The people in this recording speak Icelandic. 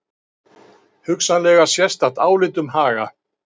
Hugsanlega sérstakt álit um Haga